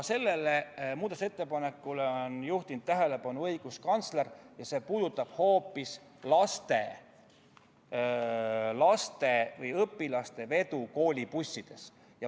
Sellele muudatusettepanekule on juhtinud tähelepanu õiguskantsler ja see puudutab hoopis laste või õpilaste vedu koolibussides.